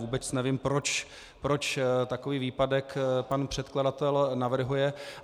Vůbec nevím, proč takový výpadek pan předkladatel navrhuje.